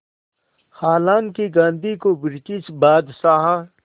हालांकि गांधी को ब्रिटिश बादशाह